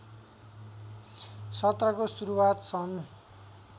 सत्रको सुरुवात सन